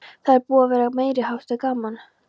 Það er búið að vera meiriháttar gaman!